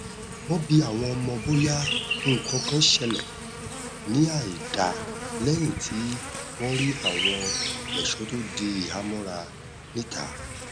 wọn bi àwọn ọmọ bóyá nnkankan ṣẹlẹ ní àìda lẹyìn tí wọn rí àwọn ẹṣọ tó di ìhàmọra níta